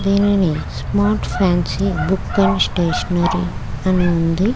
దిన్నిని smart fancy book మరియు stationery --